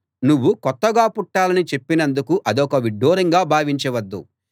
నువ్వు కొత్తగా పుట్టాలని చెప్పినందుకు అదొక విడ్డూరంగా భావించవద్దు